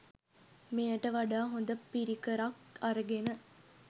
මෙයට වඩා හොඳ පිරිකරක් අරගෙන